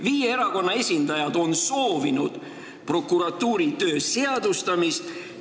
Viie erakonna esindajad on soovinud prokuratuuri töö seadustamist.